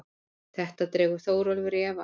Þetta dregur Þórólfur í efa.